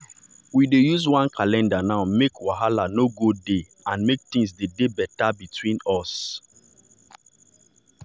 we dey use one calendar now make wahala no go dey and make things dey dey better between us.